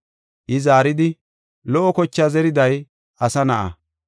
I zaaridi, “Lo77o zerethi zeriday Asa Na7a.